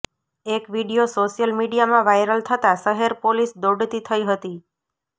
એક video social મિડીયામાં viral થતા શહેર પોલીસ દોડતી થઇ હતી